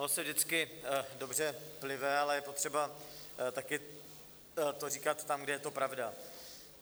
Ono se vždycky dobře plive, ale je potřeba taky to říkat tam, kde je to pravda.